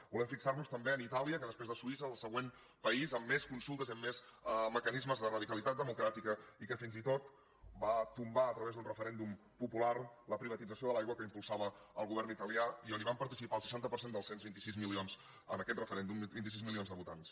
volem fixar nos també en itàlia que després de suïssa és el següent país amb més consultes i amb més mecanismes de radicalitat democràtica i que fins i tot va tombar a través d’un referèndum popular la privatització de l’aigua que impulsava el govern italià i on van participar el seixanta per cent del cens vint sis milions en aquest referèndum vint sis milions de votants